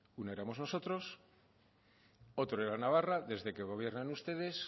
una éramos nosotros otro era navarra desde que gobiernan ustedes